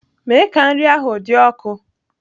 Mee ka nri ahụ dị ọkụ!